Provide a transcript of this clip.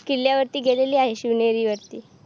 किल्ल्यावरती गेलेली आहे शिवनेरी वरती